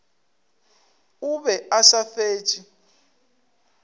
o be a sa fetše